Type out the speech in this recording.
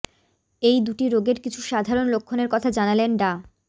এই দুটি রোগের কিছু সাধারণ লক্ষণের কথা জানালেন ডা